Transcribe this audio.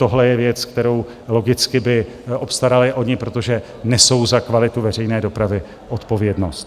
Tohle je věc, kterou by logicky obstarali oni, protože nesou za kvalitu veřejné dopravy odpovědnost.